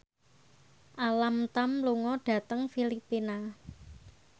Alam Tam lunga dhateng Filipina